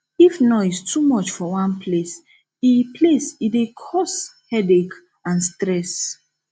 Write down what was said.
if noise dey too much for one place e place e dey cos headache and stress